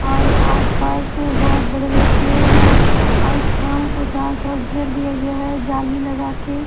और आसपास बहुत बड़े-बड़े पेड़ हैं और इस पेड़ को चारों तरफ घेर दिया गया है जाली लगा के।